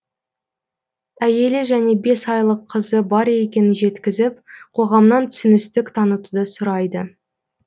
әйелі және бес айлық қызы бар екенін жеткізіп қоғамнан түсіністік танытуды сұрайды